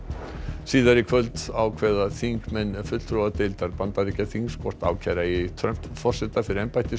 síðar í kvöld ákveða þingmenn fulltrúadeildar Bandaríkjaþings hvort ákæra eigi Trump forseta fyrir